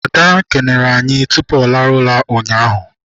Ada kelere anyị tupu ọ rahụ ụra ụnyaahụ.